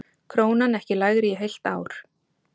Krónan ekki lægri í heilt ár